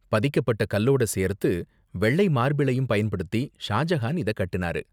பதிக்கப்பட்ட கல்லோட சேர்த்து வெள்ளை மார்பிளையும் பயன்படுத்தி ஷாஜஹான் இத கட்டுனாரு.